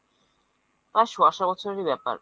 প্রায় সোয়া শো বছরের ব্যাপার।